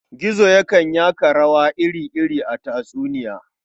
Gizo yakan yaka rawa iri-iri a tatsuniya.